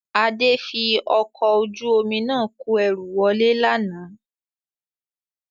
Adé fi ọkọ̀ ojú omi náà kò ẹrú wọlé lánàá